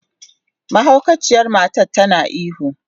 Mahaukaciyar matar tana ihu.